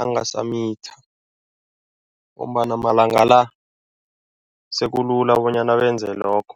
angasamitha ngombana malanga la, sekulula bonyana benze lokho.